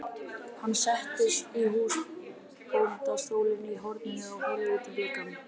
Hann settist í húsbóndastólinn í horninu og horfði út um gluggann.